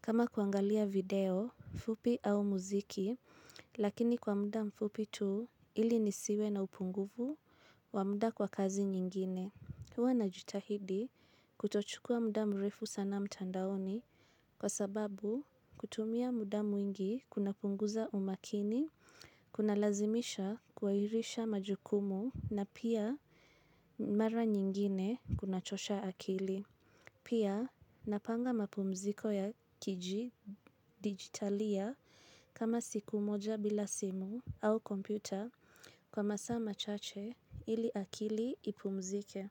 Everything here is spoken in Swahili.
kama kuangalia video, fupi au muziki, lakini kwa muda mfupi tu ili nisiwe na upungufu wa muda kwa kazi nyingine. Huwa na jitahidi kutochukua muda mrefu sana mtandaoni kwa sababu kutumia mudamu mwingi kuna punguza umakini, kuna lazimisha kuairisha majukumu na pia mara nyingine kuna chosha akili. Pia napanga mapumziko ya kiji digitalia kama siku moja bila simu au kompyuta kwa masa machache ili akili ipumzike.